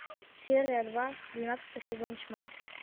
серия два двенадцатый сезон тьма